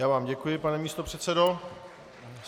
Já vám děkuji, pane místopředsedo.